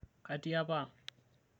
katii apa ang'